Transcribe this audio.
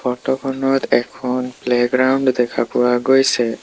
Photo খনত এখন playground দেখা পোৱা গৈছে।